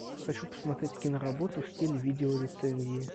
хочу посмотреть киноработу в стиле видеорецензии